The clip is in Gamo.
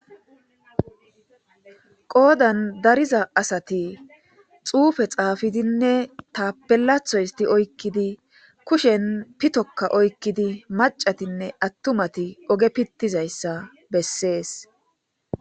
Qoodan dariza asati xuufe xaafidinne tapelatho isti oykkidi kushen pitokka oykkidi macatinne attumati oge pittizayssa bessees.